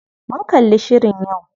Mun kalli shirin yau.